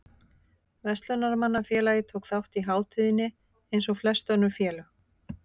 Verslunarmannafélagið tók þátt í hátíðinni eins og flest önnur félög.